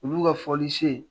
Olu ka folili se